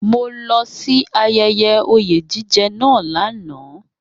Mo lọ sí ayẹyẹ oyè jíjẹ náà lánàá